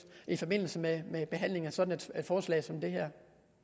i forbindelse med med behandlingen af sådan et forslag som det her